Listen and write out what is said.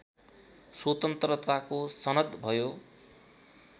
स्वतन्त्रताको सनद भयो